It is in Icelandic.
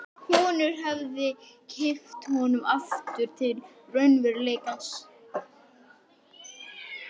Konurnar höfðu kippt honum aftur til raunveruleikans.